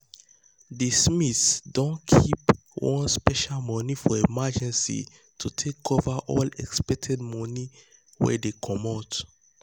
the smiths don keep one special money for emergency to take cover any unexpected money wey dey comot.